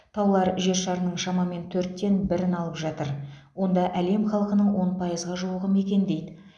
таулар жер шарының шамамен төрттен бірін алып жатыр онда әлем халқының он пайызға жуығы мекендейді